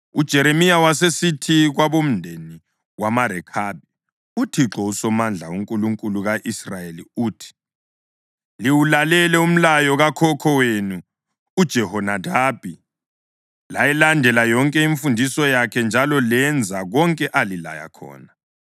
UJeremiya wasesithi kwabomndeni wamaRekhabi, “ UThixo uSomandla, uNkulunkulu ka-Israyeli uthi, ‘Liwulalele umlayo kakhokho wenu uJehonadabi layilandela yonke imfundiso yakhe njalo lenza konke alilaya khona.’